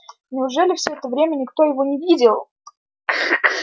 неужели всё это время никто его не видел